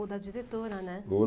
Ou da diretora, né? Ou